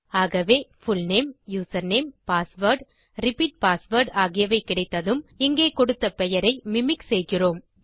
ஆகவே full name username password repeat password ஆகியவை கிடைத்ததும் இங்கே கொடுத்த பெயரை மிமிக் செய்கிறோம்